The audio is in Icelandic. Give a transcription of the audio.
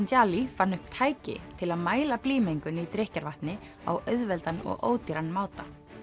gitanjali fann upp tæki til að mæla blýmengun í drykkjarvatni á auðveldan og ódýran máta